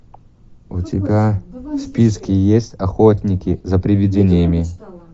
у тебя в списке есть охотники за привидениями